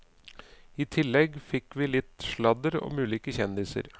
I tillegg fikk vi litt sladder om ulike kjendiser.